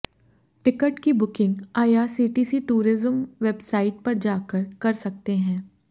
ticket की booking IRCTC tourism website पर जाकर कर सकते हैं